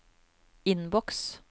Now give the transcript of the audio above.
innboks